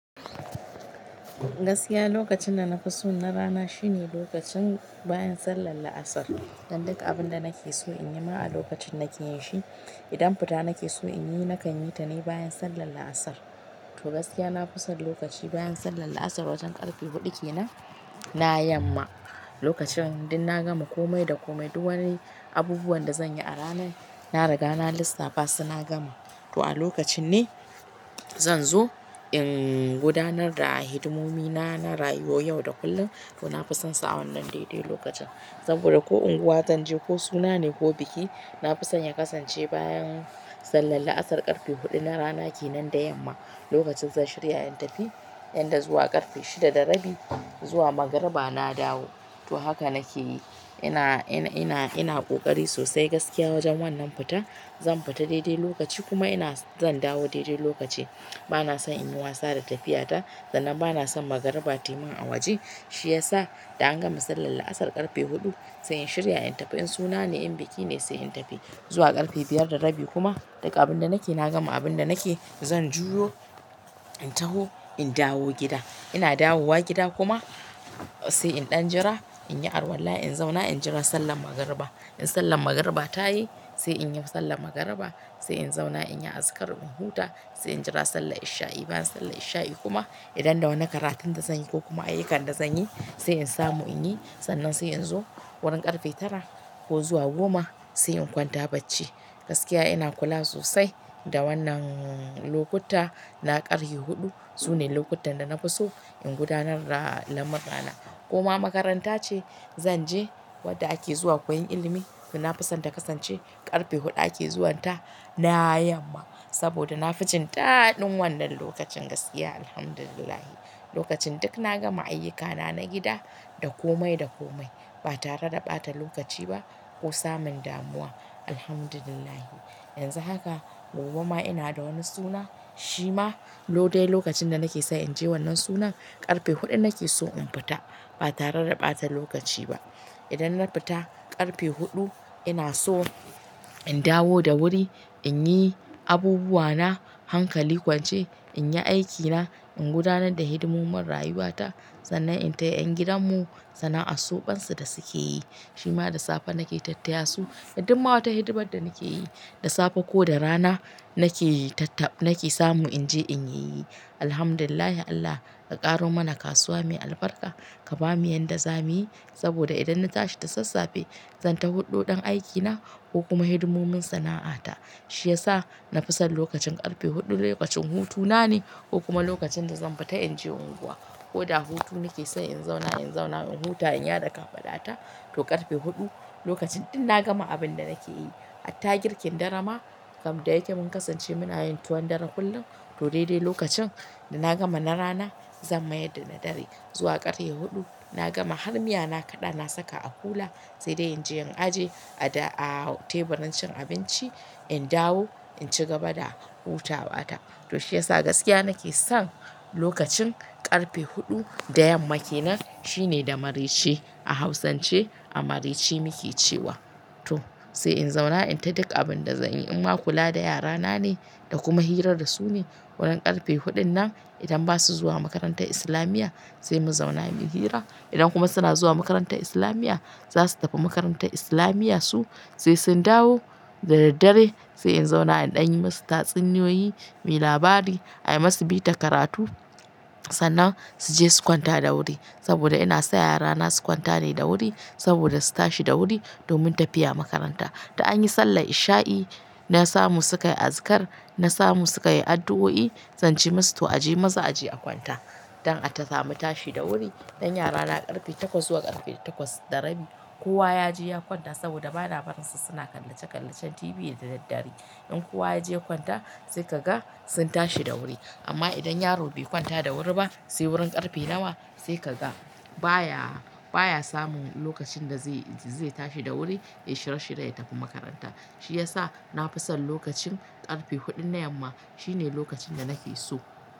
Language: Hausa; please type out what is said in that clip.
Gaskiya lokacin da na fi so na rana shine lokacin bayan sallar La'asar. Dan duka abin da nake so in yi ma a lokacin nake yin shi. Idan fita nake so in yi nakan yi ta ne bayan sallar La'asar. Toh gaskiya nafi son lokaci bayan sallar la'asar wajan karfe hudu kenan na yamma. Lokacin ɗin na gama kome da kome duk wani abubuwan da zan yi a rana na riga na lissafa suna gama. To a lokacin ne zan zo in gudanar da hidimomi na, na rayuwar yau da kullum to na fi son sa wannan dai-dai lokacin. Saboda ko unguwa zan je ko suna ne ko biki na fi son ya kasance bayan sallar La'asar karfe huɗu na rana kenan da yamma. Lokacin zan shirya in tafi inda zuwa karfe shida da rabi zuwa magariba na dawo. To haka nake yi ina, ina, ina ƙoƙari sosai gaskiya wajen wannan fita. Zan fita daidai lokaci kuma ina zan dawo daidai lokaci. Bana son in yi wasa da tafiya ta sannan bana son magariba tayi min a waje. Shi ya sa da an gama sallar La'asar karfe huɗu sai in shirya in tafi in suna ne in biki ne sai in tafi. Zuwa karfe biyar da rabi kuma duka abin da nake na gama abin da nake zan juyo in taho in dawo gida. Ina dawowa gida kuma sai in ɗan jira in yi arwala in zauna in jira sallan magariba. In sallan magariba ta yi sai in yau sallan magariba sai in zauna in yi azikar in huta sai in jira sallar isha'i. Bayan sallar isha'i kuma idan da wani karatun da zan yi ko kuma ayyukan da zan yi sai in samu in yi sannan sai in zo wurin karfe tara ko zuwa goma sai in kwanta bacci. Gaskiya ina kula sosai da wannan lokuta na karfe huɗu sune lokutan da na fi so in gudanar da lamura na. Koma makaranta ce zan je wadda ake zuwa koyon ilimi to na fi so ta kasance karfe huɗu ake zuwanta na yamma. Saboda na fi jin dadin wannan lokacin gaskiya Alhamdulillah. Lokacin duk na gama ayyukana na gida da kome da kome ba tare da ɓata lokaci ba ko samun damuwa Alhamdulillah. Yanzu haka gobe ma ina da wani suna shi ma lodai lokacin da nake so in je wannan sunan karfe huɗu nake so in fita ba tare da ɓata lokaci ba. Idan na fita karfe huɗu ina so in dawo da wuri in yi abubuwa na hankali kwance in yi aikina in gudanar da hidimun marayuwa ta sannan in taya ƴan gidan mu sana'ar soɓansu da suke yi. Shi ma da safe nake tattaya su dumma wata hidimar da nake yi. Da safe ko da rana nake tata- nake samu in je in yi. Alhamdulillah Allah ka ƙaro mana kasuwa mai albarka ka bamu yadda zamuyi saboda idan na tashi da sassafe zan taho huɗo ɗan aikina ko kuma hidimomin sana'ata. Shi ya sa na fi son lokacin karfe huɗu lokacin hutuna ne ko kuma lokacin da zan fita in je unguwa. Ko da hutu nake so in zauna in zauna in huta in yada ka faɗata to karfe huɗu lokacin ɗin na gama abin da nake yi. Attagirkin darama kam da yake mun kasance muna yin tuwon dare kullum to daidai lokacin da na gama na rana zan mayar da na dare. Zuwa ƙarfe huɗu na gama har miya na kaɗa na saka a hula sai dai in je in aje a teburin cin abinci in dawo in ci gaba da hutawa ta. To shi ya sa gaskiya nake son lokacin karfe huɗu da yamma kenan shine da marece a hausance a marece muke cewa. Toh sai inzauna inta duk abinda zanyi inma kula da yara nane da kuma hira dasu ne wurin karfe hudun nan idan basu zuwa makarantar islamiyya sai mu zauna muyi hira idan kuma suna zuwa makantar islamiya zasu tafi makarantar islamiyan su sai sun dawo da daddare sai in zauna in ɗan yi musu tatsuniyoyi, mi labari, a yi masu bita karatu sannan su je su kwanta da wuri. Saboda ina sa yara na su kwanta ne da wuri saboda su tashi da wuri domin tafiya makaranta. Da anyi sallar isha'i na samu sukayi azikar na samu sukayi addu'o'i zance musu to aje maza aje a kwanta. Dan atasamu tashi da wuri dan yara na karfe takwas zuwa takwas da rabi kowa yaje ya kwanta saboda bana barin su suna kallace kallacen TV da daddare inkowa yaje ya kwanta sai kaga sun tashi da wuei amma idan yaro bai kwanta da wuri ba sai wurin ƙarfe nawa sai kaga baya, baya samun lokacin da zai, zai tashi da wuri ya shirye shirye ya tafi makaranta. Shi ya sa na fi son lokacin ƙarfe huɗun na yamma shine lokacin da nake so.